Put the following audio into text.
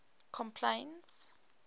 complaints